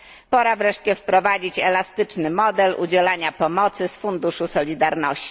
Pora wreszcie wprowadzić elastyczny model udzielania pomocy z Funduszu Solidarności.